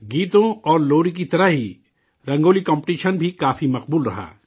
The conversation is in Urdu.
گیتوں اور لوری کی طرح ہی رنگولی کمپٹیشن بھی کافی مقبول رہا